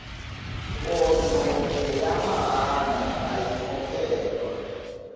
nkonzo ngeyamahhala ayikhokhelwa